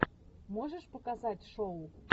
можешь показать шоу